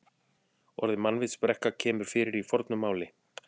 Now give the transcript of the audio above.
Orðið mannvitsbrekka kemur fyrir í fornu máli.